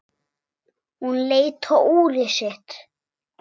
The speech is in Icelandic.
Hún leit á úrið sitt.